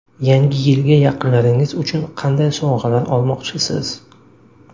Yangi yilga yaqinlaringiz uchun qanday sovg‘alar olmoqchisiz?.